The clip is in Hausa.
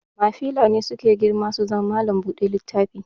Mafila ne suke girma suke zama mallam buɗe littafi